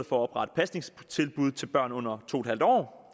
for at oprette pasningstilbud til børn under to en halv år